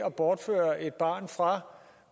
at bortføre et barn fra